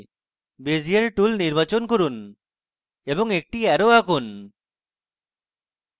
bezier tool নির্বাচন করুন এবং একটি arrow আঁকুন